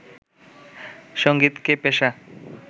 সঙ্গীতকে পেশা